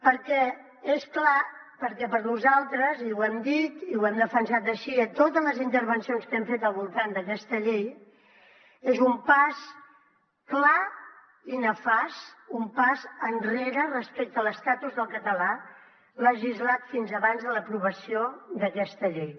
perquè per nosaltres i ho hem dit i ho hem defensat així a totes les intervencions que hem fet al voltant d’aquesta llei és un pas clar i nefast un pas enrere respecte a l’estatus del català legislat fins abans de l’aprovació d’aquesta llei